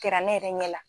Kɛra ne yɛrɛ ɲɛ la